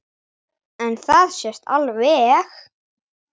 En það sést alveg.